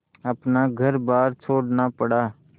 अपना घरबार छोड़ना पड़ा